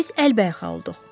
Biz əlbəyəxa olduq.